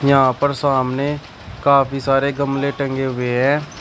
यहां पर सामने काफी सारे गमले टंगे हुए हैं।